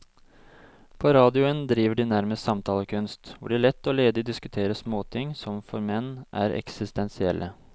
På radioen driver de nærmest samtalekunst, hvor de lett og ledig diskuterer småting som for menn er eksistensielle.